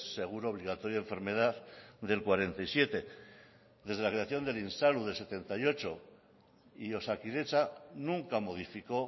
seguro obligatorio de enfermedad del cuarenta y siete desde la creación del insalud de setenta y ocho y osakidetza nunca modificó